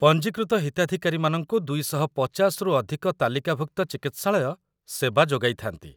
ପଞ୍ଜୀକୃତ ହିତାଧିକାରୀମାନଙ୍କୁ ୨୫୦ରୁ ଅଧିକ ତାଲିକାଭୁକ୍ତ ଚିକିତ୍ସାଳୟ ସେବା ଯୋଗାଇଥାନ୍ତି |